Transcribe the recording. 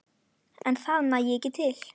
En það nægi ekki til.